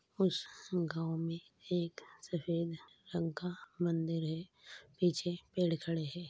उस गांव में एक सफेद रंग का मंदिर है। पीछे पेड़ खड़े हैं।